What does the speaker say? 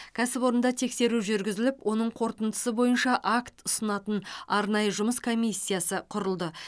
кәсіпорында тексеру жүргізіліп оның қорытындысы бойынша акт ұсынатын арнайы жұмыс комиссиясы құрылды